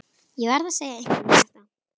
Ég verð að segja einhverjum þetta.